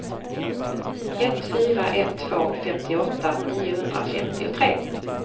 ett fyra ett två femtioåtta niohundrafemtiotre